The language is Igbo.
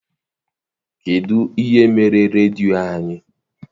Kedụ ihe mere redio anyị?